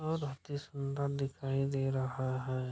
और अतिसुन्दर दिखई दे रहा है।